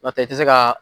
N'o tɛ i tɛ se ka